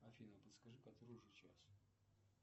афина подскажи который уже час